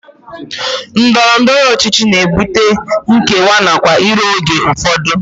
Ndọrọndọrọ ọchịchị na-ebute nkewa nakwa iro oge ụfọdụ